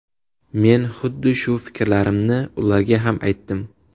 Men huddi shu fikrlarimni ularga ham aytdim.